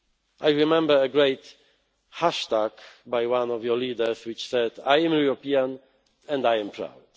pride. I remember a great hashtag by one of your leaders, which said I am European and I am